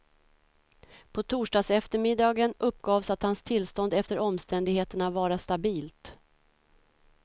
På torsdagseftermiddagen uppgavs att hans tillstånd efter omständigheterna vara stabilt.